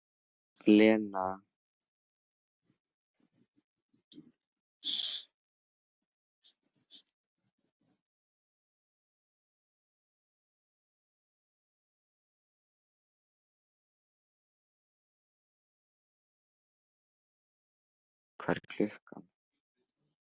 Mikael, hvað er klukkan?